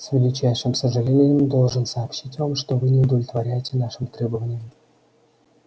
с величайшим сожалением должен сообщить вам что вы не удовлетворяете нашим требованиям